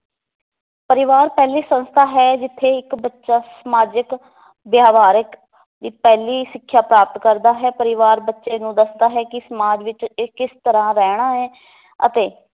ਪਰਿਵਾਰ ਪਹਿਲੀ ਸੰਸਥਾ ਹੈ ਜਿੱਥੇ ਇੱਕ ਬੱਚਾ ਸਮਾਜਿਕ ਵਿਵਹਾਰਿਕ ਦੀ ਪਹਿਲੀ ਸਿੱਖਿਆ ਪ੍ਰਾਪਤ ਕਰਦਾ ਹੈ ਪਰਿਵਾਰ ਬੱਚੇ ਨੂੰ ਦੱਸਦਾ ਹੈ ਕਿ ਸਮਾਜ ਵਿਚ ਇਹ ਕਿਸ ਤਰਾਂ ਰਹਿਣਾ ਹੈ ਅਤੇ